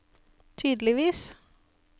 tydeligvis